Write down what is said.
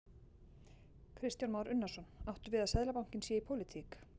Kristján Már Unnarsson: Áttu við að Seðlabankinn sé í pólitík?